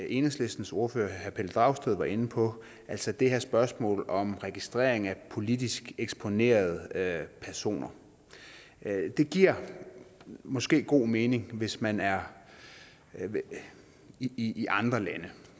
enhedslistens ordfører herre pelle dragsted var inde på altså det her spørgsmål om registrering af politisk eksponerede personer det giver måske god mening hvis man er i i andre lande